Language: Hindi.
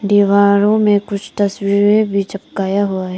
दीवारों में कुछ तस्वीरें भी चपकाया हुआ है।